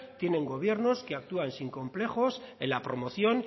tienen gobiernos que actúan sin complejos en la promoción